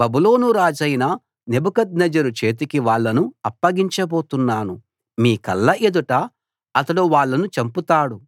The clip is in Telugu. బబులోను రాజైన నెబుకద్నెజరు చేతికి వాళ్ళను అప్పగించబోతున్నాను మీ కళ్ళ ఎదుట అతడు వాళ్ళను చంపుతాడు